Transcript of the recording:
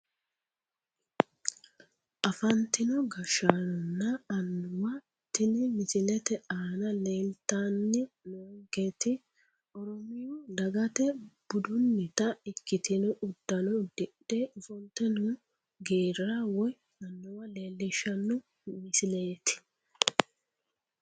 Afantino gashshaanonna annuwa tini misilete aana leeltanni noonketi oromiyu dagata budunnita ikkitino uddano uddidhe ofolte noo geerra woyi annuwa leellishshanno misileeti